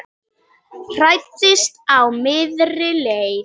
Hræddist á miðri leið